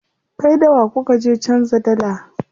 Kai da wa kuka je canza dalla?